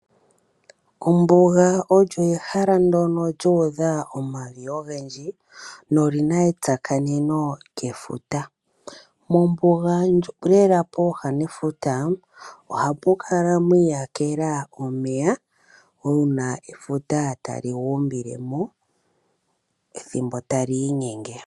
Ombuga olyo ehala ndyono lyuudha omavi ogendji nolina etsakaneno lyefuta. Mombuga lela pooha nefuta ohapu kala mwiiyakela omeya uuna efuta tali guumbile mo ethimbo tali inyenge.